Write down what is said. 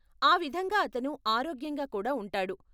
ఆ విధంగా అతను ఆరోగ్యంగా కూడా ఉంటాడు.